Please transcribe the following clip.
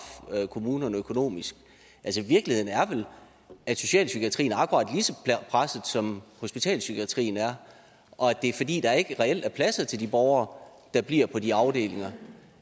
kommunerne økonomisk virkeligheden er vel at socialpsykiatrien er akkurat lige så presset som hospitalspsykiatrien er og at det er fordi der reelt ikke er pladser til de borgere der bliver på de afdelinger